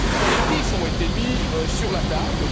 collectifs ont été mis sur la table.